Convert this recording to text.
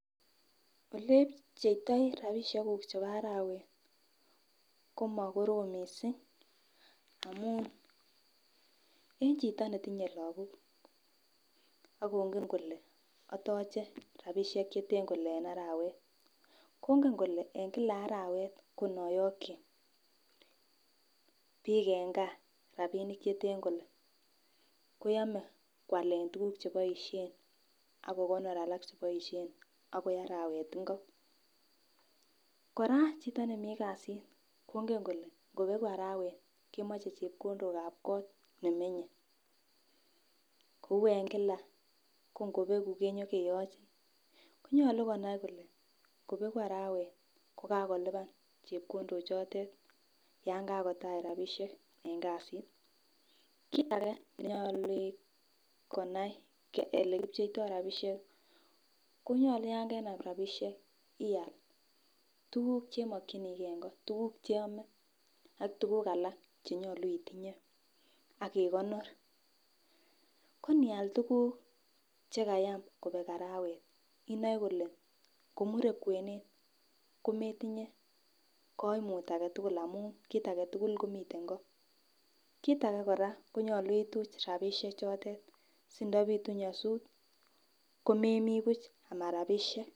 Olepcheitoi rabishek kuk chebo arawet komo korom missing amun ichito netinye lokok akongen kole otoche rabishek cheten kole en arawet, kongen kole en Kila arawet ko noyoki bik en gaa rabinik cheten kole koyome kwalen kwalen tukuk cheboishen ak kokonor ak kokonor alak cheboishen akoi arawet ingo. Koraa chito nemii kasit kongen kole ngobeku arawet kemoche chepkondok ab kot nemenye kou en Kila ko ngobeku konyo keyochi, konyolu konai kole ngobeku arawet kokakolipan chepkondok chotet yon kakotach rabishek en kasit. Kit age nenyolu konai ole kipcheito rabishek konyolu yon kenam rabishek ial tukuk chemokinigee en kot tukuk cheome ak tukuk alak chenyolu itinyee ak ikonor ko nial tukuk che kayam kobek arawet inoe kole komure kwenet kometinyee koimut agetukul amun kit3 agetukul komiten koo. Kit age koraa konyolu ituch rabishek chotet sindopitu nyosut komemii buch ama rabishek.